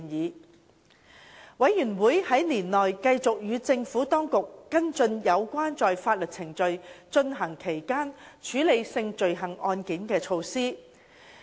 事務委員會在年內繼續與政府當局跟進有關在法院程序進行期間處理性罪行案件的措施。